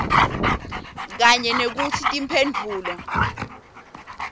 kanye nekutsi timphendvulo